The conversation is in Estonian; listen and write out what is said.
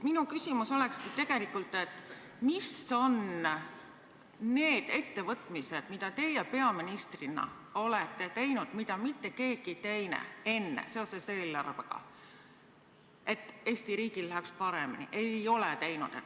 Minu küsimus olekski selline: mis on need ettevõtmised, mida teie peaministrina olete teinud, seoses eelarvega, mida mitte keegi teine enne ei ole teinud, selleks, et Eesti riigil läheks paremini?